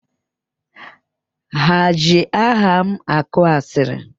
Ha eji aha m akọ asịrị?